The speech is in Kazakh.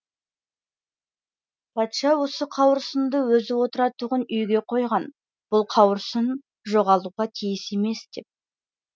патша осы қауырсынды өзі отыратұғын үйге қойған бұл қауырсын жоғалуға тиіс емес деп